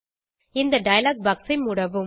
இந்த dialog box ஐ மூடவும்